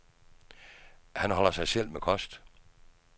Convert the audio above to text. Han holder sig selv med kost.